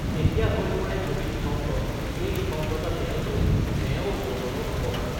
তেতিয়া হৈ পৰে কবি নিঃসংগ এই নিঃসংগতা তেওঁলৈ তেওঁৰ যৌৱনৰ উপহাৰ